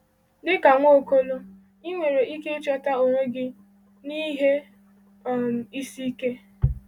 Dịka Nwaokolo, ị nwere ike ịchọta onwe gị n’ihe um isi ike.